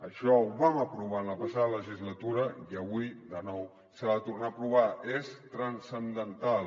això ho vam aprovar en la pas·sada legislatura i avui de nou s’ha de tornar a aprovar és transcendental